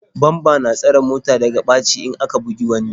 Bamba na tsare mota daga ɓaci in aka bugi wani.